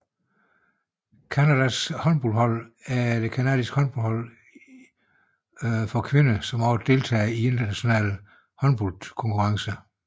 Canadas håndboldlandshold er det canadiske landshold i håndbold for kvinder som også deltager i internationale håndboldkonkurrencer